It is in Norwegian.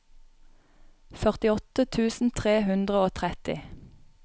førtiåtte tusen tre hundre og tretti